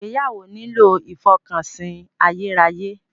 Ìgbéyàwó nílò ìfọkànsìn ayérayé.